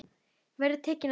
En verður tekið á því?